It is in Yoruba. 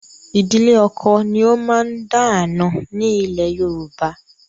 Ìdílé ọkọ ni ó máa ń dá àna ni ilẹ̀ Yorùbá.